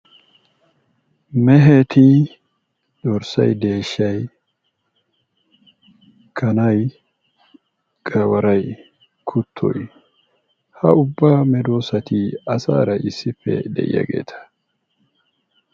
Meeheti dorssay, deeshsha,,kanay, gawaryi, kuttoy ha ubba medoossati asaara issippe de'iyaageeta.